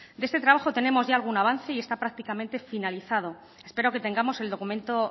de este trabajo tenemos ya algún avance y está prácticamente finalizado espero que tengamos el documento